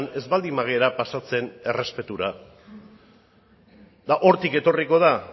ez baldin bagara pasatzen errespetura eta hortik etorriko da